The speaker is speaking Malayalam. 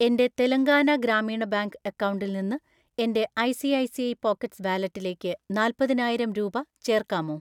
എൻ്റെ തെലങ്കാന ഗ്രാമീണ ബാങ്ക് അക്കൗണ്ടിൽ നിന്ന് എൻ്റെ ഐ.സി.ഐ.സി.ഐ പോക്കറ്റ്‌സ് വാലറ്റിലേക്ക് നാല്പതിനായിരം രൂപ ചേർക്കാമോ?